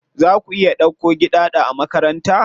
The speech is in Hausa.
Za ku iya dauko Giɗaɗo a makaranta?